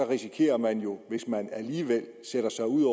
risikerer man jo hvis man alligevel sætter sig ud